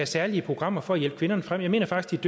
særlige programmer for at hjælpe kvinderne frem jeg mener faktisk